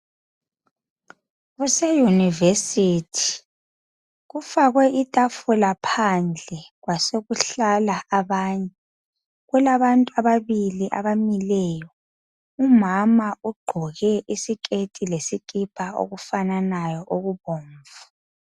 Kuseyunivesithi kufakwe ithafula phandle .Kwasokuhlala abanye , kulabantu ababili abamileyo. Umama ugqoke isikethi lesikipa okufananayo okubomvu.